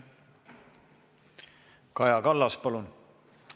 Kaja Kallas, palun!